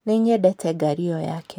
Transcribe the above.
Nĩnyendete ngari ĩyo yake